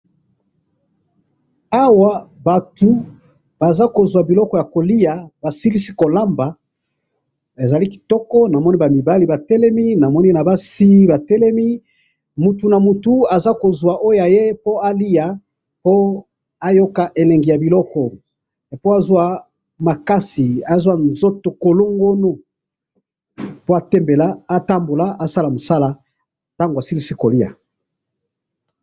Awa na moni batu baza kuzuwa biloko ya kolia, basilisi kolamba, eza kitoko , ba mibali batelemi na basi, moto na moto aza kuzuwa biloko naye alia po azua makasi ya kosala musala.